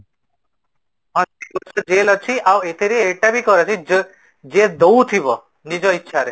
ହଁ jail ଅଛି ଆଉ ଏଠାରେ ଏଟାବି କରି ଯିଏ ଦଉଥିବ ନିଜ ଇଚ୍ଛା ରେ